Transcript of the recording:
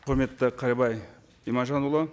құрметті қайырбай иманжанұлы